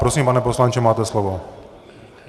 Prosím, pane poslanče, máte slovo.